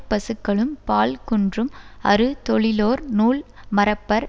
பசுக்களும் பால் குன்றும் அறு தொழிலோர் நூல் மறப்பர்